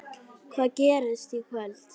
Hvað gerist í kvöld?